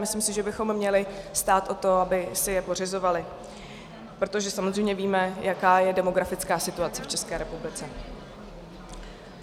Myslím si, že bychom měli stát o to, aby si je pořizovali, protože samozřejmě víme, jaká je demografická situace v České republice.